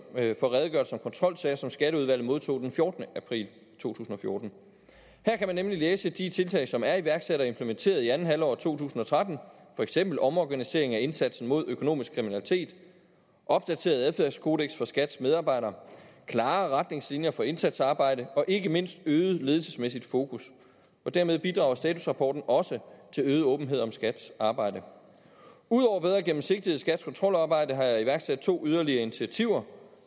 kontrolsager som skatteudvalget modtog den fjortende april to tusind og fjorten her kan man nemlig læse om de tiltag som er iværksat og implementeret i andet halvår af to tusind og tretten for eksempel omorganisering af indsatsen mod økonomisk kriminalitet opdateret adfærdskodeks for skats medarbejdere klare retningslinjer for indsatsarbejde og ikke mindst øget ledelsesmæssigt fokus dermed bidrager statusrapporten også til øget åbenhed om skats arbejde ud over bedre gennemsigtighed i skats kontrolarbejde har jeg iværksat to yderligere initiativer